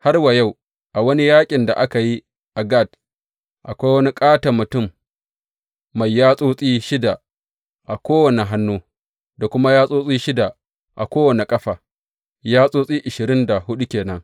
Har wa yau a wani yaƙin da aka yi a Gat, akwai wani ƙaton mutum mai yatsotsi shida a kowane hannu, da kuma yatsotsi shida a kowane ƙafa, yatsotsi ashirin da huɗu ke nan.